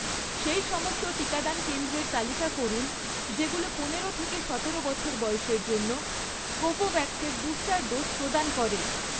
সেই সমস্ত টিকাদান কেন্দ্রের তালিকা করুন যেগুলো পনেরো থেকে সতেরো বছর বয়সের জন্য কোভোভ্যাক্স এর বুস্টার ডোজ প্রদান করে